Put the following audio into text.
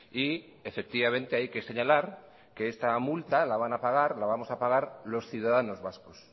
y efectivamente hay que señalar que esta multa la van a pagar la vamos a pagar los ciudadanos vascos